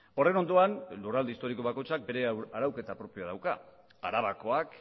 horren ondoan lurralde historiko bakoitzak bere arauketa propioa dauka arabakoak